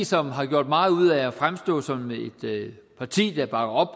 som har gjort meget ud af at fremstå som et parti der bakker op